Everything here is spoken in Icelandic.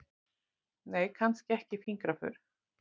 Nei, kannski ekki fingraför.